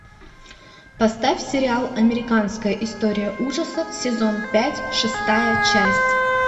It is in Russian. поставь сериал американская история ужасов сезон пять шестая часть